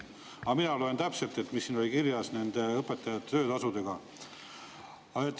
Mina lugesin täpselt, mis siin kirjas on nende õpetajate töötasude kohta.